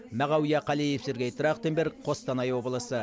мағауия қалиев сергей трахтенберг қостанай облысы